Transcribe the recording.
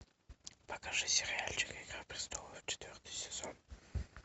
покажи сериальчик игра престолов четвертый сезон